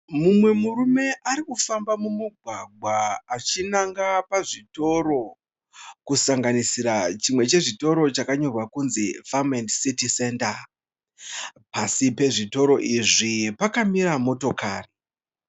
Mumwe murume ari kufamba mumugwagwa achinanga pazvitoro, kusanganisira chitoro chakanyorwa kuti Farm &City Center. Pasi pezvitoro izvi pakamira motokari.